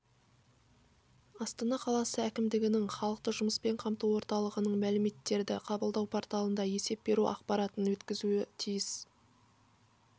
астана қаласы әкімдігінің халықты жұмыспен қамту орталығының мәліметтерді қабылдау порталына есеп беру ақпаратын өткізуі тиіс